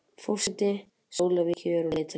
Forseti Slóvakíu á leið til landsins